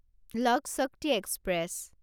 লক Shakti express